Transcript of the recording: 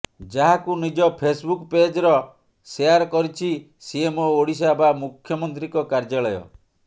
ଯାହାକୁ ନିଜ ଫେସବୁକ ପେଜର ସେୟାର କରିଛି ସିଏମଓ ଓଡ଼ିଶା ବା ମୁଖ୍ୟମନ୍ତ୍ରୀଙ୍କ କାର୍ଯ୍ୟାଳୟ